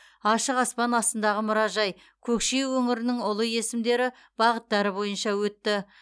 ашық аспан астындағы мұражай көкше өңірінің ұлы есімдері бағыттары бойынша өтті